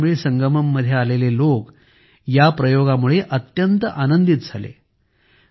काशीतमिळ संगमममध्ये आलेले लोक या प्रयोगामुळे अत्यंत आनंदित झाले